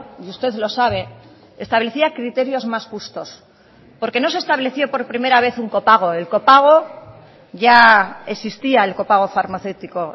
y usted lo sabe establecía criterios más justos porque no se estableció por primera vez un copago el copago ya existía el copago farmacéutico